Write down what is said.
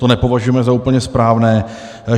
To nepovažujeme za úplně správné.